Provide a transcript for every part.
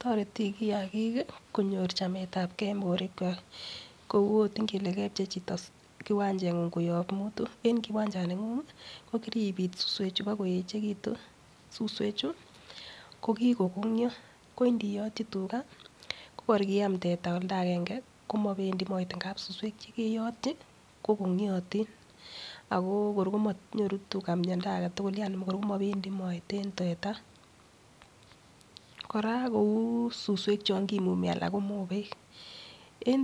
Toreti kiyagik konyor chametagee en borwek kwak kou ot ingele kebchei choto kiwanchengung koyob mutu en kiwanchaningung ko kiribit suswek chii bokoyechekitun, suswek chuu ko kikokonkyo ko ndirotyi tugaa ko kor kiam teta oldagenge komopendii koet amun suswek chekeyotyi kokonkyotin Ako kor komonyoru tugaa miondo agetutuk Yani kor komopendii koet en tata. koraa kou suswek chon kimumi anan ko mobek, en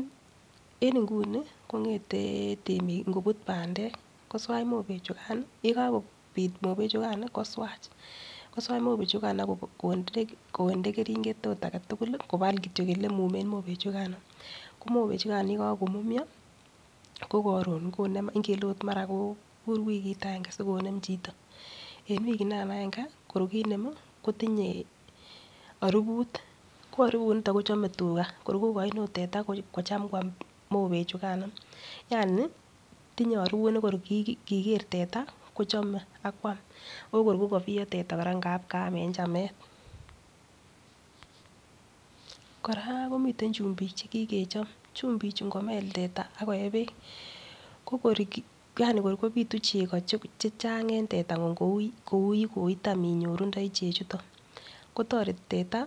inguni komgete temik ikobut pandek koswach mobek chukan yekakopit mobek chukan koswach koswach mobek chukan ak konde keringet ot agetutuk kobal kityo olemumen mobek chukan .ko mobek chukan yekokomumyo ko korun konem ingele ot mara ko kobur wikit agange sikonem choto.en wikinikan agange kor kinem kotimye orubut ko orubut niton kochome tugaa, kor kogoin ot teta kochem kwam mobek chekano Yani tinye orubut nekor kigeer tata kochome ak kwam okor ko kobiyo tata ngap kaam en chamet. koraa komiten chumbik chekikechob, chumbik chuu ngomel tata ak koyee beek ko kor Yani kor kopitu chego chechang en tetanguny kou yekotam inyorundoi chechuton kotoreti teta.